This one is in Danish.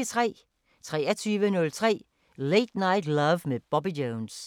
23:03: Late Night Love med Bobby Jones